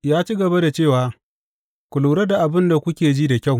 Ya ci gaba da cewa, Ku lura da abin da kuke ji da kyau.